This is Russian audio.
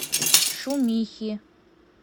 шумихи